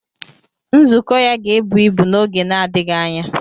Nzukọ ya ga-ebu ibu n'oge na-adịghị anya.